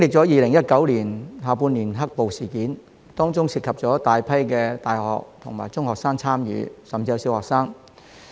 2019年下半年的"黑暴"事件，有大批大學生、中學生甚至小學生參與。